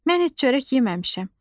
Mən heç çörək yeməmişəm.